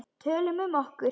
Tölum um okkur.